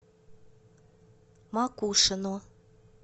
макушино